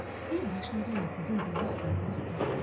Div başını yenə qızın dizi üstünə qoyub yatdı.